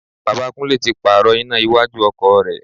Bàbá Kúnlẹ́ tí pààrò iná iwájú ọkọ̀ rẹ̀.